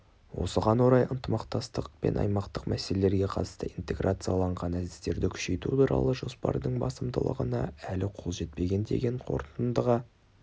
осыған орай аймақтық ынтымақтастық пен аймақтық мәселелерге қатысты интеграцияланған әдістерді күшейту туралы жоспардың басымдылығына әлі қол жетпеген деген қорытындыға